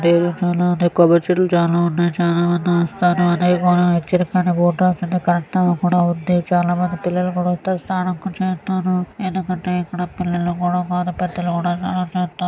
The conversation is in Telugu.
రేగు పూలు కొబ్బరి చెట్లు చాలానే ఉన్నాయి చాల పెద్దవి వస్తూనే ఉన్నాయి మనకు నచ్చిన చాలా మంది పిల్లలు కూడా ఉన్నారు స్నానం చేస్తారు పిల్లలు కూడా చేరారు.